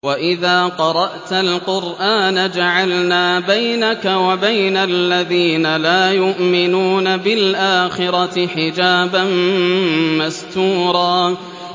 وَإِذَا قَرَأْتَ الْقُرْآنَ جَعَلْنَا بَيْنَكَ وَبَيْنَ الَّذِينَ لَا يُؤْمِنُونَ بِالْآخِرَةِ حِجَابًا مَّسْتُورًا